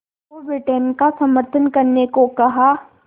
को ब्रिटेन का समर्थन करने को कहा